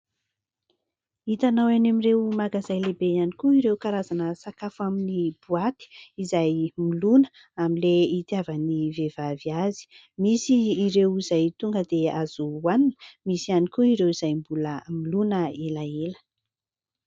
hitanao any amin'ireo magazay lehibe ihany koa ireo karazana sakafo amin'ny boaty izay milona amin'ilay itiavan'ny vehivavy azy, misy ireo izay tonga dia azo hohanina, misy ihany koa ireo izay mbola milona elaela